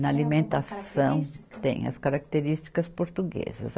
Na alimentação tem as características portuguesas.